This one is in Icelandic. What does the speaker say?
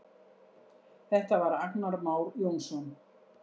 Þetta var Agnar Már Jónsson.